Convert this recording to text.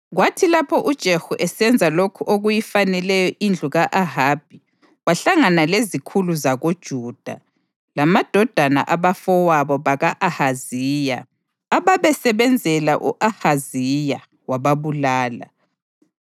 Kwathi lapho uJehu esenza lokhu okuyifaneleyo indlu ka-Ahabi, wahlangana lezikhulu zakoJuda lamadodana abafowabo baka-Ahaziya ababesebenzela u-Ahaziya, wababulala.